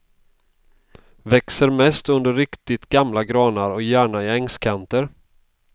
Växer mest under riktigt gamla granar och gärna i ängskanter.